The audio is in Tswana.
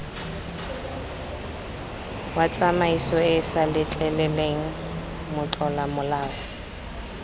wa tsamaisoeesa letleleleng motlola molao